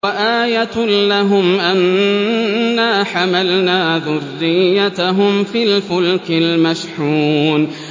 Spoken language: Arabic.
وَآيَةٌ لَّهُمْ أَنَّا حَمَلْنَا ذُرِّيَّتَهُمْ فِي الْفُلْكِ الْمَشْحُونِ